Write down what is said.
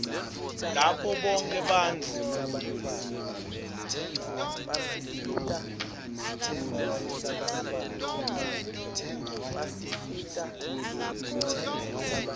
lapho bonkhe bantfu